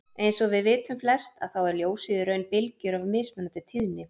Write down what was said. Eins og við vitum flest að þá er ljósið í raun bylgjur af mismunandi tíðni.